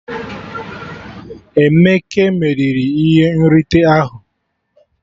Emeke meriri ihe nrite ahụ